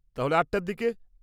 তাহলে, আটটার দিকে?